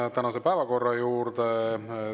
Asume tänase päevakorra juurde.